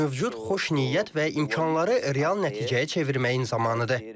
Mövcud xoş niyyət və imkanları real nəticəyə çevirməyin zamanıdır.